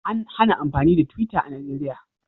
An hana amfani da twitter a Najeriya